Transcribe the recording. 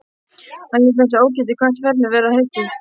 Hann lét þess ógetið hvert ferðinni væri heitið.